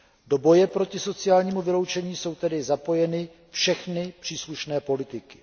Do boje proti sociálnímu vyloučení jsou tedy zapojeny všechny příslušné politiky.